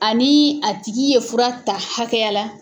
Ani a tigi ye fura ta hakɛya la.